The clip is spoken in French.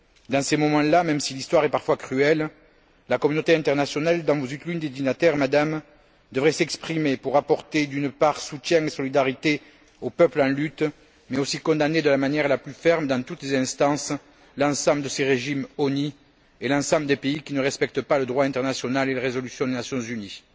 Dans ces moments là, même si l'histoire est parfois cruelle, la communauté internationale dont vous êtes l'une des dignitaires, Madame devrait s'exprimer pour apporter soutien et solidarité aux peuples en lutte, mais aussi pour condamner, de la manière la plus ferme, dans toutes les instances, l'ensemble de ces régimes honnis et l'ensemble des pays qui ne respectent pas le droit international et les résolutions des Nations unies.